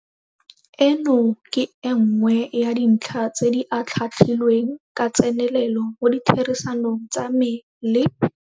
Eno ke e nngwe ya dintlha tse di atlhaatlhilweng ka tsenelelo mo ditherisanong tsa me le.